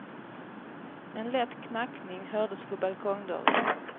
En lätt knackning hördes på balkongdörren.